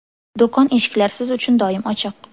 Do‘kon eshiklari siz uchun doim ochiq!